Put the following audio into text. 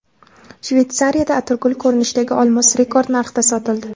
Shveysariyada atirgul ko‘rinishidagi olmos rekord narxda sotildi .